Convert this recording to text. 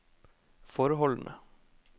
forholdene